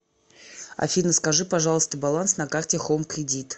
афина скажи пожалуйста баланс на карте хоум кредит